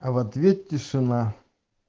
а в ответ тишина